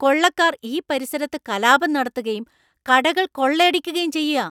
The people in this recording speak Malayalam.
കൊള്ളക്കാർ ഈ പരിസരത്ത് കലാപം നടത്തുകയും കടകൾ കൊള്ളയടിക്കുകയും ചെയ്യ.